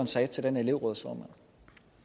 sagde til den elevrådsformand